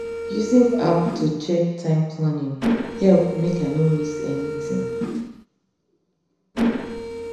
using app to check time planning help make i no miss anything